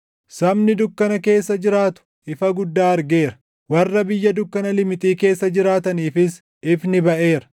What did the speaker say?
Sabni dukkana keessa jiraatu ifa guddaa argeera; warra biyya dukkana limixii keessa jiraataniifis ifni baʼeera.